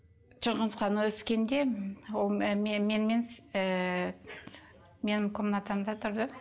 шыңғысхан өскенде ол менімен менің комнатамда тұрды